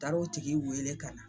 Taar'o tigi weele kana